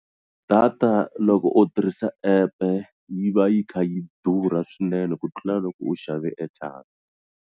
Data loko u tirhisa app-e yi va yi kha yi durha swinene ku tlula loko u xave airtime.